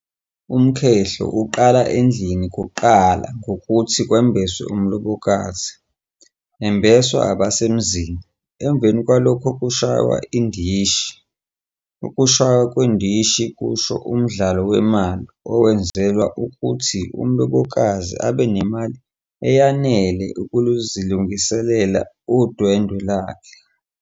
Umkhehlo uqala endlini kuqala ngokuthi kumbeswe umlobokazi, embeswa abasemzini, emveni kwalokho kushaywa indishi. Ukushaywa kwendishi kusho umdlalo wemali owenzelwa ukuthi umlobokazi abenemali eyanele ukuzilungiselela udwendwe lakhe.